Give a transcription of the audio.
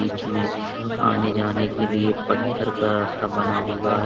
इसमें आने जाने के लिए पत्थर का रास्ता बना हुआ--